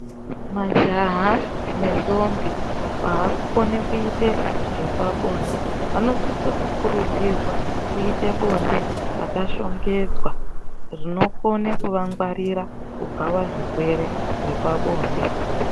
Majaha nendombi vaakukone kuitezvepabonde vanosise kukurudzirwa kuite bonde rakashongedzwa rinokone kuvangwarira kubva pazvirwere zvepabonde.